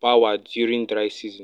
power during dry season